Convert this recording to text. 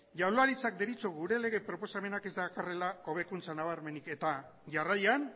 jaurlaritzak deritzo gure lege proposamenak ez dakarrela hobekuntza nabarmenik eta jarraian